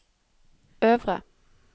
øvre